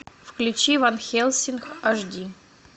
включи ван хельсинг аш ди